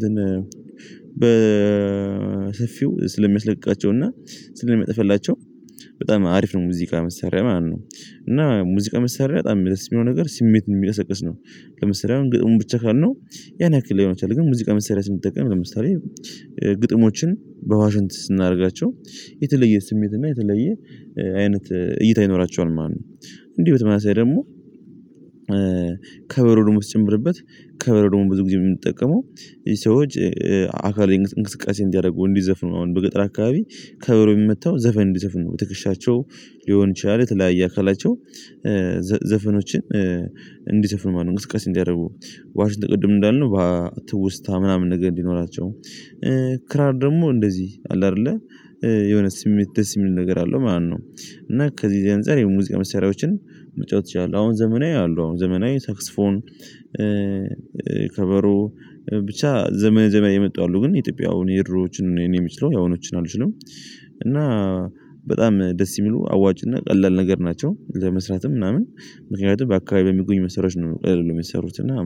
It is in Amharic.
በ በሰፊው ስለሚያስለቅቃቸው እና ሚጥፍላቸው በጣም አሪፍ ነው። ሙዚቃ መሰረት ማነው? እና ሙዚቃ መሰረት በጣም የሚለብስ የሚሆን ነገር ስሜት ነው የሚያሰቅስ ነው። ለምሳሌ አሁን ግጥሙን ብቻ ነው ያን ያክል ሊሆን ይችላል። ግን ሙዚቃ መስሪያ ስንጠቀም ለምሳሌ ግጥሞችን በዋሽንት ስናደርጋቸው የተለየ ስሜት እና የተለየ አይነት እይታ ይኖራቸዋል። ማነው? እንዲህ በተመሳሳይ ደግሞ ከበሮ ደግሞ ስትጨምርበት ከበሮ ደግሞ ብዙ ጊዜ የምንጠቀመው ሰዎች አካል እንቅስቃሴ እንዲያደርጉ እንዲዘፍኑ አሁን በገጠር አካባቢ ከበሮ የሚመታው ዘፈን እንዲዘፍኑ በትክሻቸው ሊሆን ይችላል። የተለያየ አካላቸው ዘፈኖችን እንዲዘፍን ማለት ነው። እንቅስቃሴ እንዲያደርጉ ዋሽንት ቅድም እንዳልነው ትውስታ ምናምን ነገር እንዲኖራቸው ክራር ደግሞ እንደዚህ አለ አይደለ የሆነ ስሜት ደስ የሚል ነገር አለው። ማነው? እና ከዚህ የዚህ አንፃር የሙዚቃ መስሪያዎችን መጫወት ይቻላል። አሁን ዘመናዊ አሉ አሁን ዘመናዊ ሳክስፎን ከበሮ ብቻ ዘመን ዘመን የመጣው አሉ ግን ኢትዮጵያ አሁን የድሮዎችን እኔ የምችለው ያሁኖችን አልችልም። እና በጣም ደስ የሚሉ አዋጭና ቀላል ነገር ናቸው። ለመስራትም ምናምን ምክንያቱም በአካባቢ የሚገኙ መሰረት ነው የሚሰሩት እና